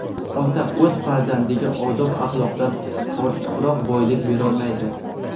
"Ota o‘z farzandiga odob-axloqdan ortiqroq boylik berolmaydi."